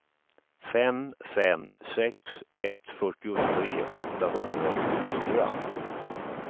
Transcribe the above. fem fem sex ett fyrtiotre åttahundraåttiofyra